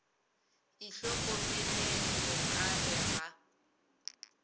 itlhokomeleng go ka re ga